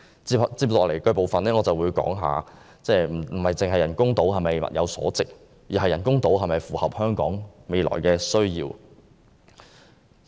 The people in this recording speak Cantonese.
接下來，我會談談人工島是否物有所值，以及人工島是否符合香港未來的需要。